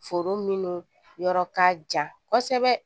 Foro minnu yɔrɔ ka jan kosɛbɛ